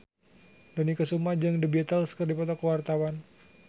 Dony Kesuma jeung The Beatles keur dipoto ku wartawan